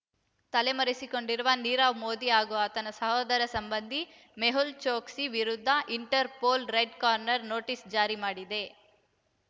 ತಲೆ ಮರೆಸಿಕೊಂಡಿರುವ ನೀರವ್ ಮೋದಿ ಹಾಗೂ ಆತನ ಸೋದರ ಸಂಬಂಧಿ ಮೆಹುಲ್ ಚೊಕ್ಸಿ ವಿರುದ್ಧ ಇಂಟರ್‌ಪೋಲ್ ರೆಡ್ ಕಾರ್ನರ್ ನೋಟಿಸ್ ಜಾರಿ ಮಾಡಿದೆ